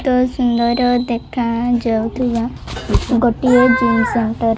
ତ ସୁନ୍ଦର ଦେଖା ଯାଉଥିବା ଗୋଟିଏ ଜିନିଷ ସୁନ୍ଦର --